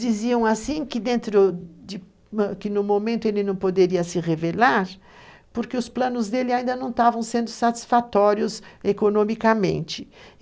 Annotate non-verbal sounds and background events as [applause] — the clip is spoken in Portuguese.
diziam que dentro do, [unintelligible] no momento ele não poderia se revelar, porque os planos dele ainda não estavam sendo satisfatórios economicamente.